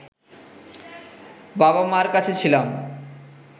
বাবা-মার কাছে ছিলাম